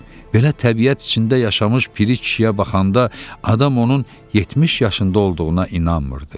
Belə təbiət içində yaşamış piri kişiyə baxanda adam onun 70 yaşında olduğuna inanmırdı.